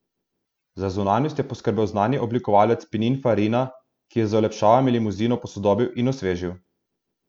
Za zunanjost je poskrbel znani oblikovalec Pininfarina, ki je z olepšavami limuzino posodobil in osvežil.